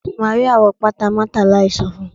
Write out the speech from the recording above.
Maria wọ pata Martha láì so fun